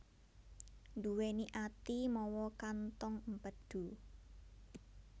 Nduwèni ati mawa kantong empedu